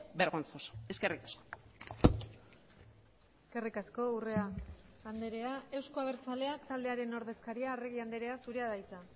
vergonzoso eskerrik asko eskerrik asko urrea andrea euzko abertzaleak taldearen ordezkaria arregi andrea zurea da hitza